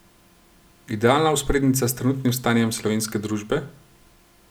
Idealna vzporednica s trenutnim stanjem slovenske družbe?